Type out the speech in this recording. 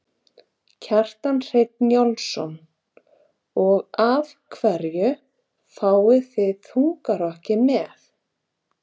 Kjartan Hreinn Njálsson: Og af hverju fáið þið þungarokkið með?